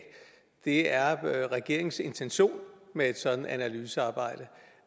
er af er regeringens intention med et sådant analysearbejde